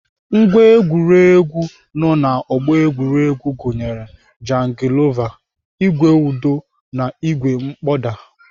Ngwá egwuregwu nọ na ọgbọ egwuregwu gụnyere jangilova, ìgwè ụdọ na ìgwè mkpọda.